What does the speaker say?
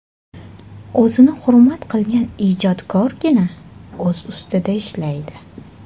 O‘zini hurmat qilgan ijodkorgina o‘z ustida ishlaydi.